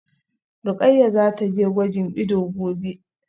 Rukayyah zataje gwajin ido gobe